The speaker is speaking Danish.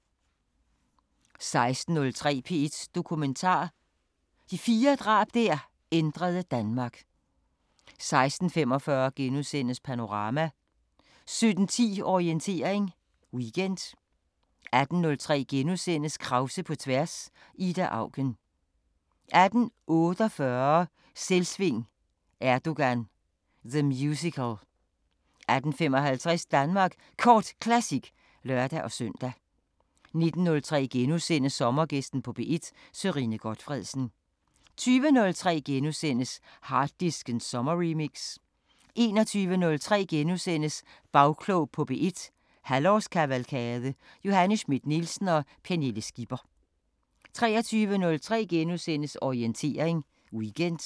16:03: P1 Dokumentar: Fire drab der ændrede Danmark 16:45: Panorama * 17:10: Orientering Weekend 18:03: Krause på tværs: Ida Auken * 18:48: Selvsving: Erdogan – The Musical 18:55: Danmark Kort Classic (lør-søn) 19:03: Sommergæsten på P1: Sørine Gotfredsen * 20:03: Harddisken sommerremix * 21:03: Bagklog på P1- halvårskavalkade: Johanne Schmidt-Nielsen og Pernille Skipper * 23:03: Orientering Weekend *